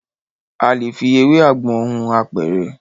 A lè fi ewé àgbọn hun apẹ̀rẹ̀.